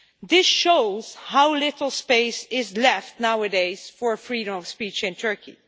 This shows how little space is left nowadays for freedom of speech in Turkey.